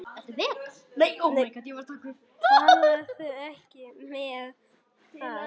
Töluðu ekki um það.